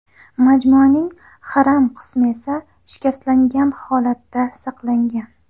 Majmuaning haram qismi esa shikastlangan holatda saqlangan.